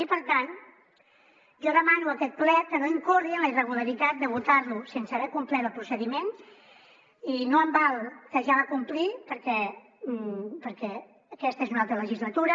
i per tant jo demano a aquest ple que no incorri en la irregularitat de votar lo sense haver complert el procediment i no em val que ja el va complir perquè aquesta és una altra legislatura